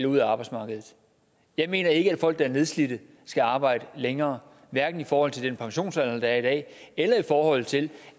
ud af arbejdsmarkedet jeg mener ikke at folk der er nedslidte skal arbejde længere hverken i forhold til den pensionsalder der er i dag eller i forhold til